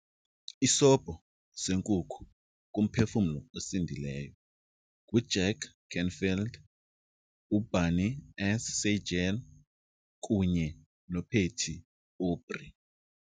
Isobho seNkukhu kuMphefumlo osindileyo nguJack Canfield, uBernie S. Siegel, kunye noPatty Aubrey.